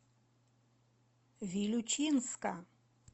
вилючинска